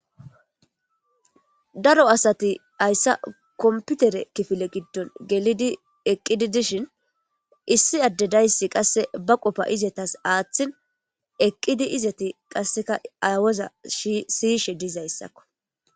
Daro asati hayssa komputere kifile giddon gelidi eqqidi dishin issi adedayssi qasse ba qofa izetas aaththin eqqidi izati qasseka aywoza ssiyishe dizayssakko